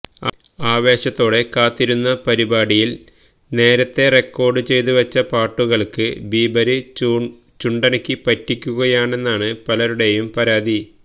ആവേശത്തോടെ കാത്തിരുന്ന പരിപാടിയില് നേരത്തേ റെക്കോഡ് ചെയ്തു വച്ച പാട്ടുകള്ക്ക് ബീബര് ചുണ്ടനക്കി പറ്റിക്കുകയാണെന്നാണ് പലരുടെയും പരാതി